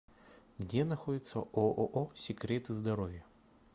где находится ооо секреты здоровья